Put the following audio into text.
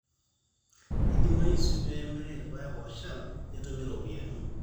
eidimayu sii pee emirri irpaek ooshal nitum iropiyiani